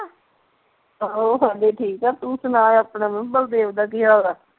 ਆਹੋ ਉਹ ਹਾਡੇ ਠੀਕ ਆ ਤੂੰ ਸੁਣਾ ਆਪਣੇ ਬਲਦੇਵ ਦੇਵ ਦਾ ਕੀ ਹਾਲ ਆ